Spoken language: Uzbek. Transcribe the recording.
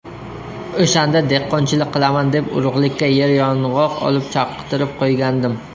O‘shanda dehqonchilik qilaman deb urug‘likka yeryong‘oq olib, chaqtirib qo‘ygandim.